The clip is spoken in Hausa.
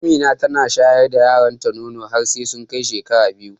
Amina tana shayar da ƴaƴan ta nono har sai sun kai shekara biyu.